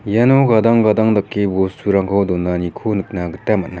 iano gadang gadang dake bosturangko donaniko nikna gita man·a.